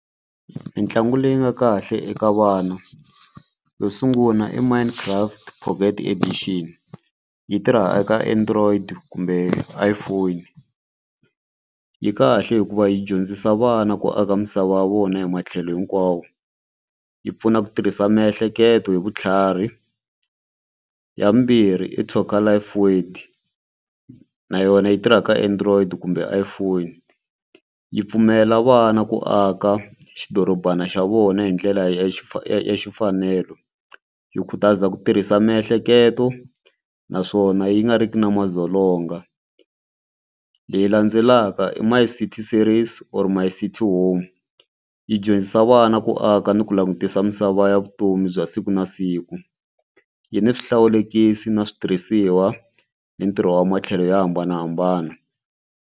Mitlangu leyi nga kahle eka vana yo sungula i mine craft edition yi tirha eka Android kumbe iPhone yi kahle hikuva yi dyondzisa vana ku aka misava ya vona hi matlhelo hinkwawo yi pfuna ku tirhisa miehleketo hi vutlhari. Ya vumbirhi i talker life word na yona yi tirhaka Android kumbe iPhone yi pfumelela vana ku aka xidorobana xa vona hi ndlela ya xi ya xi mfanelo yi khutaza ku tirhisa miehleketo naswona yi nga riki na madzolonga. Leyi landzelaka i my city series or my city home yi dyondzisa vana ku aka ni ku langutisa misava ya vutomi bya siku na siku yi ni swihlawulekisi na switirhisiwa ni ntirho wa matlhelo yo hambanahambana.